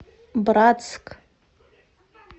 братск